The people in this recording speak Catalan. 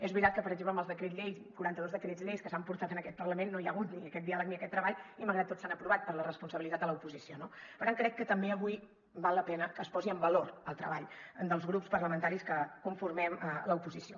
és veritat que per exemple amb els decrets llei quaranta dos decrets lleis que s’han portat en aquest parlament no hi ha hagut ni aquest diàleg ni aquest treball i malgrat tot s’han aprovat per la responsabilitat de l’oposició no per tant crec que també avui val la pena que es posi en valor el treball dels grups parlamentaris que conformem l’oposició